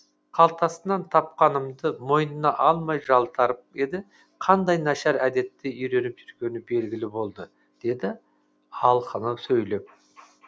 қалтасынан тапқанымда мойнына алмай жалтарып еді қандай нашар әдетті үйреніп жүргені белгілі болды деді алқына сөйлеп